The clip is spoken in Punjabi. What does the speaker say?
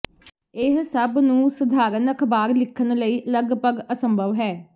ਇਹ ਸਭ ਨੂੰ ਸਧਾਰਨ ਅਖਬਾਰ ਸਿੱਖਣ ਲਈ ਲਗਭਗ ਅਸੰਭਵ ਹੈ